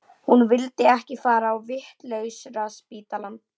Hún vildi ekki fara á vitlausraspítalann.